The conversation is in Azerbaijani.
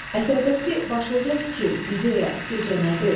Əsərdəki başlıca fikir, ideya, sizcə nədir?